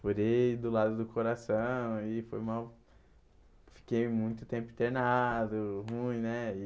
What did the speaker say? Furei do lado do coração e foi mó fiquei muito tempo internado, ruim, né?